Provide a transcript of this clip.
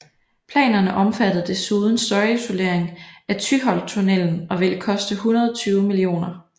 Planerne omfattede desuden støjisolering af Tyholttunnelen og ville koste 120 mio